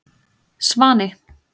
Svani